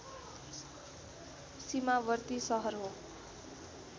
सिमावर्ती सहर हो